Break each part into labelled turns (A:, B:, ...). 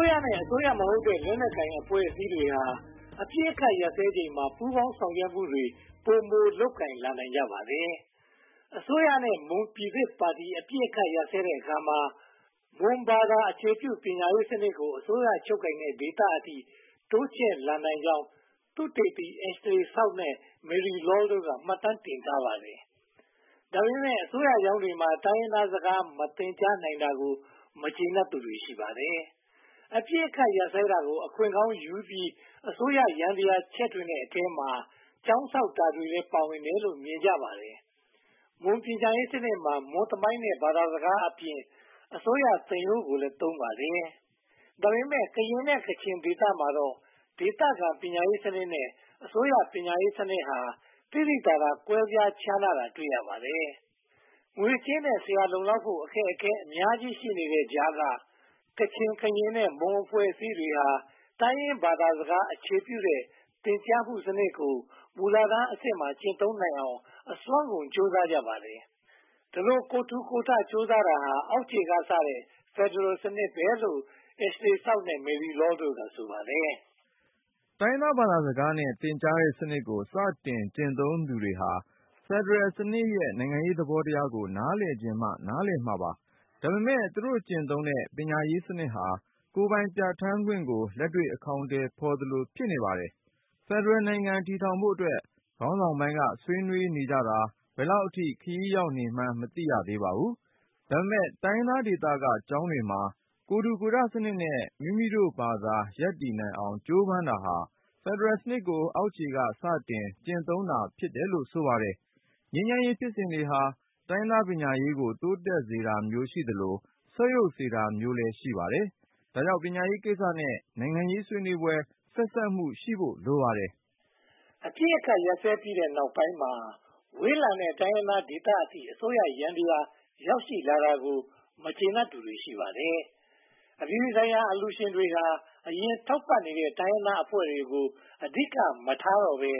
A: ုးရမဟုတ်တဲ့ လက်နက်ကိုင်အဖွဲ့တွေဟာ အပစ်အခတ်ရပ်စဲချိန်မှာ ပူးပေါင်းဆောင်ရွက်မှုတွေ ပိုမိုလုပ်ကိုင်လာနိုင်ကြပါတယ်။ အစိုးရနဲ့ မွန်ပြည်သစ်ပါတီ အပစ်အခတ်ရပ်စဲတဲ့အခါမှာ မွန်ဘာသာအခြေပြု ပညာရေးစနစ်ကို အစိုးရချုပ်ကိုင်တဲ့ဒေသအထိ တိုးချဲ့လာနိုင်ကြောင်း သုတေသီ Ashley South နဲ့ Marie Lall တို့က မှတ်တမ်းတင်ထားပါတယ်။ ဒါပေမဲ့ အစိုးရကျောင်းတွေမှာ တိုင်းရင်းသားစကားနဲ့ မသင်ကြားနိုင်သေးတာကို မကျေနပ်သူတွေ ရှိပါတယ်။ အပစ်အခတ်ရပ်စဲတာကို အခွင့်ကောင်းယူပြီး အစိုးရယန္တရား ချဲ့ထွင်တဲ့အထဲမှာ ကျောင်းဆောက်တာတွေလည်း ပါဝင်တယ်လို့ မြင်ကြပါတယ်။ မွန်ပညာရေးစနစ်မှာ မွန်သမိုင်းနဲ့ ဘာသာစကားအပြင် အစိုးရသင်ရိုးကိုလည်း သုံးပါတယ်။ ဒါပေမဲ့ ကရင်နဲ့ ကချင်ဒေသတွေမှာတော့ ဒေသခံပညာရေးစနစ်နဲ့ အစိုးရပညာရေးစနစ်ဟာ သိသိသာသာ ကွဲပြားခြားနာတာကို တွေ့ရပါတယ်။ ငွေကြေးနဲ့ ဆရာ လုံလောက်ဖို့ အခက်အခဲအများကြီး ရှိနေတဲ့ကြားက ကချင်၊ ကရင် နဲ့ မွန်အဖွဲ့အစည်းတွေဟာ တိုင်းရင်းသားဘာသာစကား အခြေပြုသင်ကြားတဲ့စနစ်ကို မူလတန်းအဆင့်မှာ ကျင့်သုံးနိုင်အောင် အစွမ်းကုန်ကြိုးစားကြပါတယ်။ ဒီလို ကိုယ်ထူကိုယ်ထ ကြိုးစားတာကို အောက်ခြေကစတဲ့ ဖယ်ဒရယ်စနစ်လို့ Ashley South နဲ့ Marie Lall တို့က ဆိုပါတယ်
B: ။ တိုင်းရင်းသားဘာသာစကားနဲ့ သင်ကြားတဲ့စနစ်ကို စတင်ကျင့်သုံးသူတွေဟာ ဖယ်ဒရယ်စနစ်ရဲ့ နိုင်ငံရေးသဘောတရားကို နားလည်ချင်မှ နားလည်မှာပါ။ ဒါပေမဲ့ သူတို့ကျင့်သုံးနေတဲ့ ပညာရေးစနစ်ဟာ “ကိုယ်ပိုင်ပြဌာန်းခွင့်” ကို လက်တွေ့အကောင်အထည်ဖော်သလို ဖြစ်နေပါတယ်။ ဖယ်ဒရယ်နိုင်ငံ ထူထောင်ဖို့အတွက် ခေါင်းဆောင်ပိုင်းက ဆွေးနွေးနေကြတာ ဘယ်လောက်အထိ ခရီးရောက်နေမှန်း မသိရသေးပါဘူး။ ဒါပေမဲ့ တိုင်းရင်းသားဒေသက ကျောင်းတွေမှာ ကိုယ်ထူကိုယ်ထစနစ်နဲ့ မိမိတို့ဘာသာ ရပ်တည်နိုင်အောင် ကြိုးပမ်းတာဟာ ဖယ်ဒရယ်စနစ်ကို အောက်ခြေက စတင်ကျင့်သုံးလာတာ ဖြစ်တယ်လို့ ဆိုပါတယ်။ ငြိမ်းချမ်းရေးဖြစ်စဉ်တွေဟာ တိုင်းရင်းသားပညာရေးကို တိုးတက်စေတာမျိုးရှိသလို ဆုတ်ယုတ်စေတာမျိုးလည်း ရှိပါတယ်။ ဒါကြောင့် ပညာရေးကိစ္စနဲ့ နိုင်ငံရေးဆွေးနွေးပွဲ ဆက်စပ်မှုရှိဖို့ လိုနေပါတယ်
A: ။ အပစ်အခတ်ရပ်စဲပြီးတဲ့နောက်ပိုင်းမှာ ဝေးလံတဲ့ တိုင်းရင်းသားဒေသအထိ အစိုးရယန္တရား ရောက်ရှိလာတာကို မကျေနပ်သူတွေ ရှိပါတယ်။ အပြည်ပြည်ဆိုင်ရာ အလှူရှင်တွေဟာ အရင်ထောက်ပံ့နေတဲ့ တိုင်းရင်းသားအဖွဲ့တွေကို အဓိကမထားဘဲ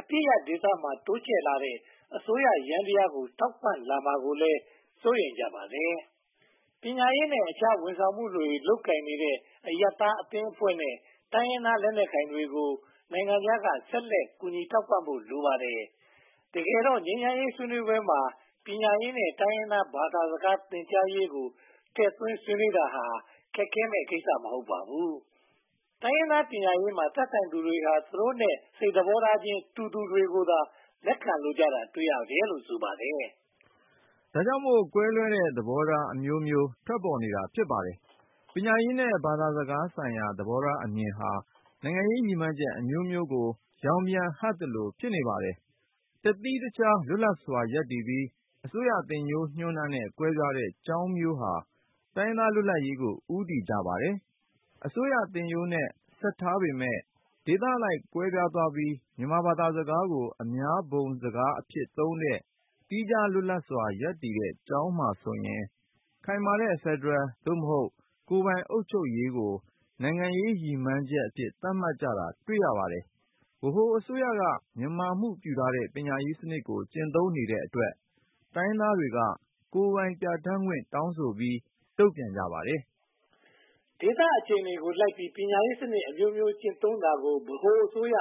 A: အပစ်ရပ်ဒေသမှာ တိုးချဲ့လာတဲ့ အစိုးရယန္တရားကို ထောက်ပံ့လာမှာကိုလည်း စိုးရိမ်ကြပါတယ်။ ပညာရေးနဲ့ အခြားဝန်ဆောင်မှုတွေ လုပ်ကိုင်နေတဲ့ အရပ်သားအသင်းဖွဲ့နဲ့ တိုင်းရင်းသားလက်နက်ကိုင်တွေကို နိုင်ငံခြားက ဆက်လက်ထောက်ပံ့ဖို့ လိုပါတယ်။ တကယ်တော့ ငြိမ်းချမ်းရေးဆွေးနွေးပွဲမှာ ပညာရေးနဲ့ တိုင်းရင်းသားဘာသာစကား သင်ကြားရေးကိုလည်း ထည့်သွင်းဆွေးနွေးတာဟာ ခက်ခဲမယ့်ကိစ္စ မဟုတ်ပါဘူး။ တိုင်းရင်းသားပညာရေးမှာ သက်ဆိုင်သူတွေဟာ သူတို့နဲ့ စိတ်သဘောထားချင်း တူသူတွေကိုသာ လက်ခံလိုတာကို တွေ့ရတယ်လို့ ဆိုပါတယ်
B: ။ ဒါကြောင့်မို့ ကွဲလွဲတဲ့သဘောထားအမျိုးမျိုး ပေါ်ထွက်နေတာ ဖြစ်ပါတယ်။ ပညာရေးနဲ့ ဘာသာရေးဆိုင်ရာ သဘောထားအမြင်ဟာ နိုင်ငံရေးရည်မှန်းချက်အမျိုးမျိုးကို ရောင်ပြန်ဟပ်သလို ဖြစ်နေပါတယ်။ တသီးတခြားလွတ်လပ်စွာ ရပ်တည်ပြီး အစိုးရသင်ရိုးညွှန်းတမ်းနဲ့ ကွဲပြားနေတဲ့ ကျောင်းမျိုးဟာ တိုင်းရင်းသားလွတ်လပ်ရေးကို ဦးတည်ကြပါတယ်။ အစိုးရသင်ရိုးနဲ့ ဆက်ထားပေမယ့် ဒေသအလိုက် ကွဲပြားသွားပြီး မြန်မာဘာသာစကားကို အများသုံးဘုံစကားအဖြစ်သုံးတဲ့၊ သီးခြားလွတ်လပ်စွာ ရပ်တည်နေတဲ့ ကျောင်းတွေမှာဆိုရင် ခိုင်မာတဲ့ ဖယ်ဒရယ် (သို့မဟုတ်) ကိုယ်ပိုင်အုပ်ချုပ်ရေးကို နိုင်ငံရေးရည်မှန်းချက်အဖြစ် သတ်မှတ်ကြတာ တွေ့ရပါတယ်။ ဗဟိုအစိုးရက မြန်မာမှုပြုထားတဲ့ ပညာရေးစနစ်ကို ကျင့်သုံးနေတဲ့အတွက် တိုင်းရင်းသားတွေက ကိုယ်ပိုင်ပြဌာန်းခွင့် တောင်းဆိုပြီး တုံ့ပြန်ကြပါတယ်
A: ။ ဒေသအခြေအနေကိုလိုက်ပြီး ပညာရေးစနစ်အမျိုးမျိုး ကျင့်သုံးတာကို ဗဟိုအစိုးရ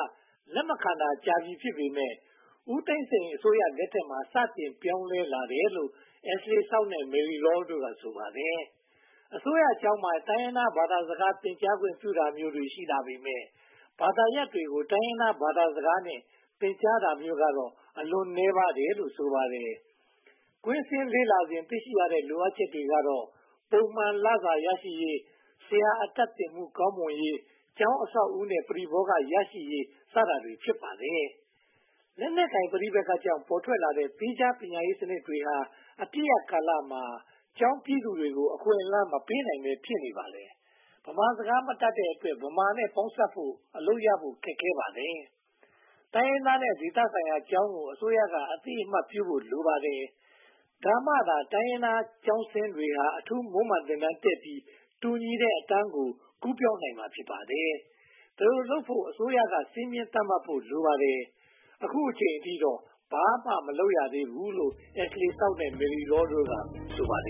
A: လက်မခံတာကြာပြီ ဖြစ်ပေမယ့် ဦးသိန်းစိန်အစိုးရလက်ထက်မှာ စတင်ပြောင်းလဲလာတယ်လို့ Ashley South နဲ့ Marie Lall တို့က ပြောဆိုပါတယ်။ အစိုးရကျောင်းမှာ တိုင်းရင်းသားဘာသာစကား သင်ကြားခွင့်ပြုတာမျိုး တွေ့ရှိလာပေမယ့် ဘာသာရပ်တွေကို တိုင်းရင်းသားဘာသာစကားနဲ့ သင်ကြားတာမျိုးကတော့ အလွန်နည်းပါးသေးတယ်လို့ ဆိုပါတယ်။ ကွင်းဆင်းလေ့လာစဉ် တွေ့ရှိရတဲ့ လိုအပ်ချက်တွေကတော့ ပုံမှန်လစာရရှိရေး၊ ဆရာအတတ်သင်မှု ကောင်းမွန်ရေးနဲ့ ကျောင်းအဆောင်အဦးနဲ့ ပရိဘောဂ ရရှိရေးစတာတွေ ဖြစ်ပါတယ်။ လက်နက်ကိုင်ပဋိပက္ခကြောင့် ပေါ်ထွက်လာတဲ့ သီးခြားပညာရေးစနစ်တွေဟာ အပစ်ရပ်ကာလမှာ ကျောင်းပြီသူတွေကို အခွင့်အလမ်းမပေးနိုင်ဘဲ ဖြစ်နေပါတယ်။ ဗမာစကားမတတ်တဲ့အတွက် ဗမာနဲ့ ပေါင်းစပ်ဖို့နဲ့ အလုပ်ရဖို့ ခက်ခဲပါတယ်။ တိုင်းရင်းသားနဲ့ ဒေသဆိုင်ရာကျောင်းကို အစိုးရက အသိအမှတ်ပြုဖို့ လိုပါတယ်။ ဒါမှသာ တိုင်းရင်းသားကျောင်းဆင်းတွေဟာ အထူးမွမ်းမံသင်တန်းတက်ပြီး တူညီတဲ့အတန်းကို ကူးပြောင်းနိုင်မှာ ဖြစ်ပါတယ်။ ဒီလိုလုပ်နိုင်ဖို့ အစိုးရ စည်းမျဉ်းသတ်မှတ်ဖို့ လိုပါတယ်
B: ။ အခုအချိန်အထိတော့ ဘာမှမလုပ်သေးဘူးလို့ Ashley South နဲ့ Marie Lall တို့က ပြောဆိုပါတယ်